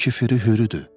Ən küfü Hürüdür.